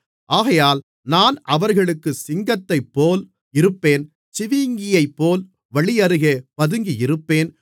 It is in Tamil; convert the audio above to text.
ஆகையால் நான் அவர்களுக்குச் சிங்கத்தைப்போல் இருப்பேன் சிவிங்கியைப்போல் வழியருகே பதுங்கியிருப்பேன்